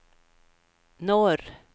norr